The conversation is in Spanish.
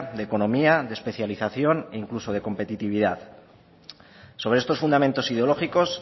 de economía de especialización e incluso de competitividad sobre estos fundamentos ideológicos